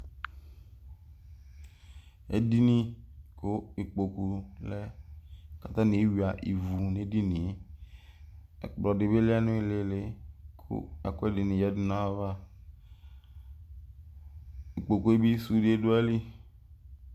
ɛdini ku ikpokule kɑtaniehua iwu nɛdinie ɛkplodibi lenilili ku ɛkuediyanava ikpokuebi sunde duaili